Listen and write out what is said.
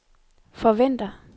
forventer